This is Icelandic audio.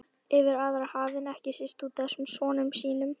Yfir aðra hafinn, ekki síst útaf þessum sonum sínum.